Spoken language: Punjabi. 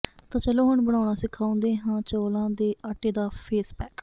ਤਾਂ ਚੱਲੋ ਹੁਣ ਬਣਾਉਣਾ ਸਿਖਾਉਂਦੇ ਹਾਂ ਚੌਲਾਂ ਦੇ ਆਟੇ ਦਾ ਫੇਸਪੈਕ